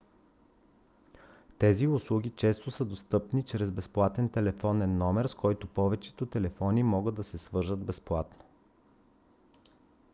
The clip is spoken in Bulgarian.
тези услуги често са достъпни чрез безплатен телефонен номер с който повечето телефони могат да се свържат безплатно